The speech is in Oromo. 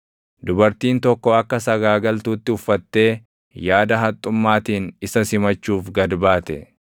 Dubartiin tokko akka sagaagaltuutti uffattee yaada haxxummaatiin isa simachuuf gad baate.